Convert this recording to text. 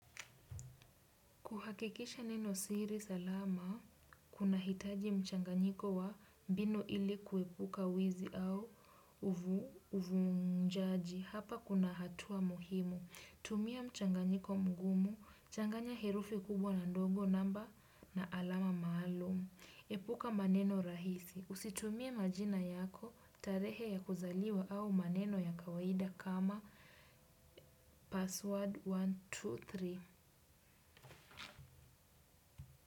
Kuhakikisha neno siri salama, kunahitaji mchanganyiko wa mbinu ili kuepuka wizi au uvunjaji. Hapa kuna hatua muhimu. Tumia mchanganyiko mgumu, changanya herufi kubwa na ndogo namba na alama maalum. Epuka maneno rahisi. Usitumie majina yako, tarehe ya kuzaliwa au maneno ya kawaida kama password mia moja na ishirini na tatu.